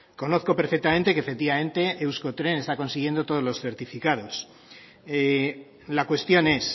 conozco perfectamente que efectivamente euskotren está consiguiendo todos los certificados la cuestión es